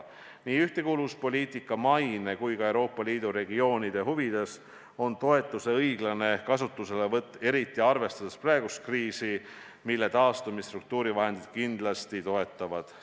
Nii ühtekuuluvuspoliitika maine kui ka Euoopa Liidu regioonide huvides on tagada toetuse õiglane kasutuselevõtt, eriti arvestades praegust kriisi, millest taastumist struktuurivahendid kindlasti toetavad.